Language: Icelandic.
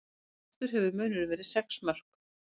Mestur hefur munurinn verið sex mörk